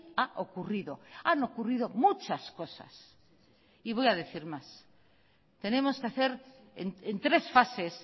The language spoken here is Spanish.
ha ocurrido han ocurrido muchas cosas y voy a decir más tenemos que hacer en tres fases